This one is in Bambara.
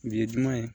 Nin ye duman ye